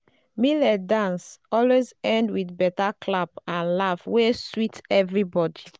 millet dance always end with better clap and laugh wey sweet everybody.